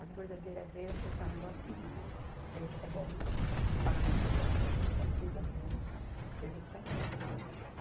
As bordadeiras veio e eu falei assim, ó, o negócio é o seguinte, o serviço é bom, o pagamento é bom, é empresa grande, o serviço está aqui.